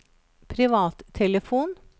privattelefon